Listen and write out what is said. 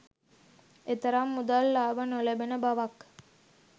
එතරම් මුදල් ලාභ නොලැබෙන බවක්